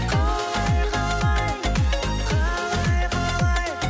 қалай қалай қалай қалай